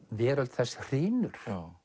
veröld þess hrynur